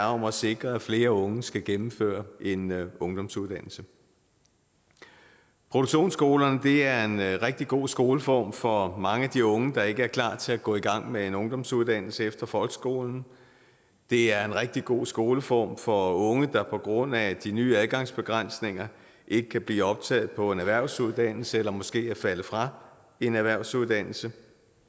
om at sikre at flere unge skal gennemføre en ungdomsuddannelse produktionsskolerne er en rigtig god skoleform for mange af de unge der ikke er klar til at gå i gang med en ungdomsuddannelse efter folkeskolen det er en rigtig god skoleform for unge der på grund af de nye adgangsbegrænsninger ikke kan blive optaget på en erhvervsuddannelse eller som måske er faldet fra en erhvervsuddannelse